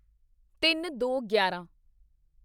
ਤਿੰਨਦੋਗਿਆਰਾਂ